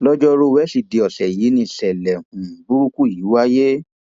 lọjọrùú wíṣídẹẹ ọsẹ yìí nìṣẹlẹ um burúkú yìí wáyé